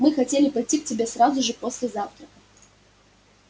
мы хотели пойти к тебе сразу же после завтрака